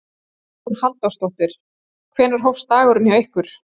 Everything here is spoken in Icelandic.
Hugrún Halldórsdóttir: Hvenær hófst dagurinn hjá ykkur?